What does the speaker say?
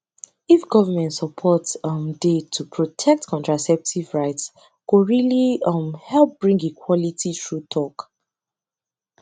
if government support um dey to protect contraceptive rights go really um help bring equality true talk